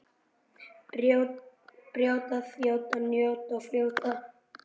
Brjóta, þjóta, njóta og fljóta.